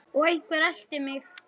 Og einhver elti mig.